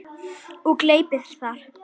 Og gleypir það.